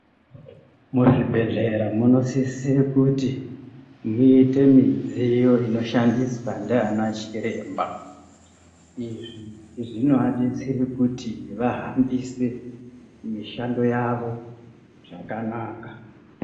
Muzvibhedhlera munosisire kuti muite midziyo inoshandiswa ndiana chiremba izvi zvinoadetsera kuti vahambise mishando yavo zvakanaka.